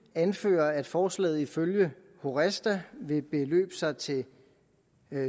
anfører at forslaget ifølge horesta vil beløbe sig til